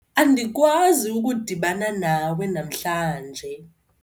andikwazi ukudibana nawe namhlanje